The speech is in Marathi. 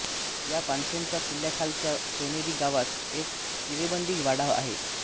या पानसेंचा किल्ल्याखालच्या सोनोरी गावात एक चिरेबंदी वाडा आहे